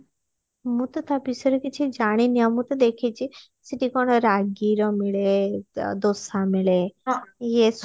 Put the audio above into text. ମୁଁ ତ ତା ବିଷୟରେ କିଛି ଜାଣିନି ମୁଁ ତ ଦେଖିଛି ସେଠି କଣ ରାଗି ର ମିଳେ ଦୋସା ମିଳେ ଇଏ